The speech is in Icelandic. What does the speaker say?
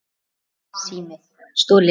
Stolinn sími